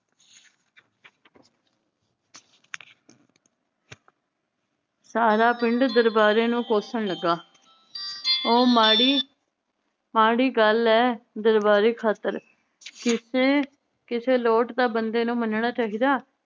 ਸਾਰਾ ਪਿੰਡ ਦਰਬਾਰੇ ਨੂੰ ਕੋਸਣ ਲੱਗਾ ਉਹ ਮਾੜੀ ਮਾੜੀ ਗੱਲ ਏ ਦਰਬਾਰੇ ਖਾਤਰ ਕਿਸੇ ਕਿਸੇ ਲੋਟ ਤਾਂ ਬੰਦੇ ਨੂੰ ਮਨਣਾ ਚਾਹੀਦਾ